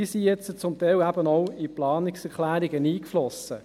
Diese sind zum Teil jetzt auch in Planungserklärungen eingeflossen.